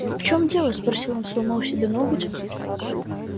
в чем дело спросил он сломал себе ноготь